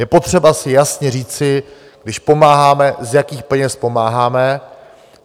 Je potřeba si jasně říci, když pomáháme, z jakých peněz pomáháme.